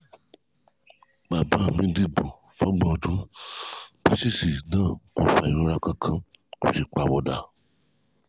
bàbá mi díìpù fún ọgbọ̀n ọdún paṣíìṣì náà kò fa ìrora kankan kò sì pàwọ̀dà